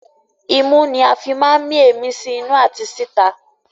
Imú ní a fí máa ń mí èémí sí inú àti sí ìta